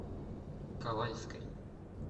ковальской